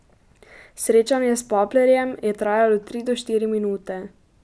Srečanje s Paplerjem je trajalo tri do štiri minute.